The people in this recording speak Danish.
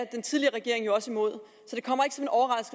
den tidligere regering jo også imod